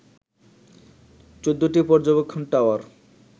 ১৪টি পর্যবেক্ষণ টাওয়ার